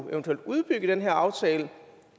udbygge den her aftale